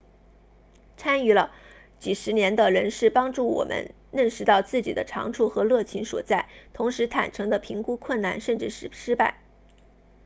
参与了几十年的人士帮助我们认识到自己的长处和热情所在同时坦诚地评估困难甚至是失败